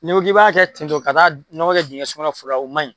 N'i ko k'i b'a kɛ tentɔ ka taa nɔgɔ kɛ digɛnso kɔnɔ foro la